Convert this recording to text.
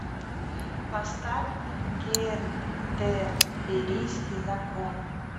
поставь кентерберийский закон